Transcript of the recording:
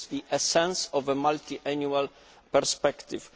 This is the essence of a multiannual perspective.